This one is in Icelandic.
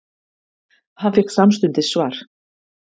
Hann fékk samstundis svar.